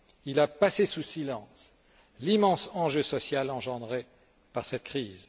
Il a passé sous silence l'immense enjeu social engendré par cette crise.